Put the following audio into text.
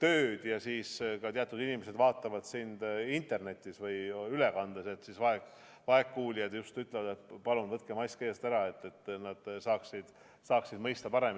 tööd ja osa inimesi vaatab sind interneti või ülekande vahendusel, siis just vaegkuuljad paluvad, et võtke mask eest ära, et nad saaksid paremini mõista.